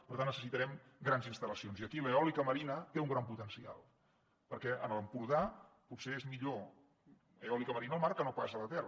per tant necessitarem grans instal·lacions i aquí l’eòlica marina té un gran potencial perquè a l’empordà potser és millor eòlica marina al mar que no pas a la terra